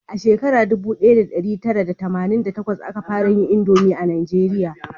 A shekara dubu daya da dari tara da tamanin da takwas a ka fara yin indomi a najeriya